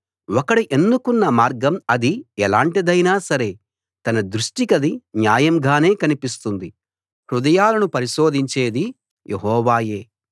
ఒకడు ఎన్నుకున్న మార్గం అది ఎలాటిదైనా సరే తన దృష్టికది న్యాయం గానే కనిపిస్తుంది హృదయాలను పరిశీలించేది యెహోవాయే